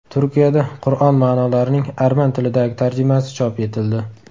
Turkiyada Qur’on ma’nolarining arman tilidagi tarjimasi chop etildi.